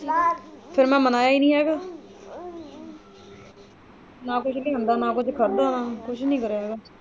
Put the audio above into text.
ਫੇਰ ਮੈਂ ਮਨਾਇਆ ਹੀ ਨਹੀਂ ਹੈਗਾ ਨਾ ਕੁੱਝ ਲਿਆਏ ਆ ਨਾ ਕੁਝ ਖਾਧਾ ਨਾਂ ਹੀ ਕੁਝ ਕਰਿਆਂ ਹੀ ਹੈਗਾ।